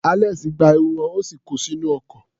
Alex gba ẹrù wọn, ó sì ko sínú ọkọ̀.